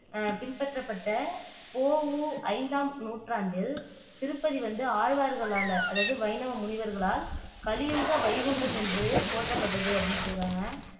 அஹ் பின்பற்றப்பட்ட பொ. ஊ. ஐந்தாம் நூற்றாண்டில் திருப்பதி வந்து ஆழ்வார்களால அதாவது வைணவ முனிவர்களால் கலியுக வைகுண்டம் என்று போற்றப்பட்டது அப்படின்னு சொல்லியிருக்காங்க